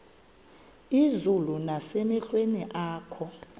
izulu nasemehlweni akho